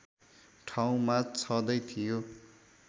ठाउँमा छँदै थियो